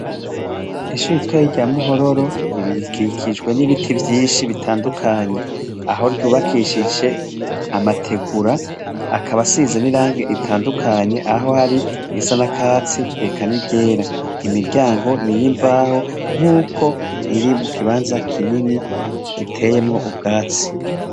Ishure ritoyi rya muhororo, rikikijwe n'ibiti vyinshi bitandukanye, aho ry'ubakishije amategura akaba asize n'irangi ritandukanye, aho hari irisa n'akatsi eka ni ryera, imiryango n'iyimbaho, nkuko riri mu kibanza kinini giteyemwo ubwatsi.